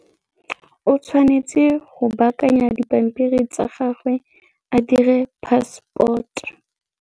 O tshwanetse go baakanya dipampiri tsa gagwe a dire passport.